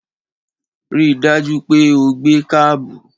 Ri dájú pé o gbé kábù!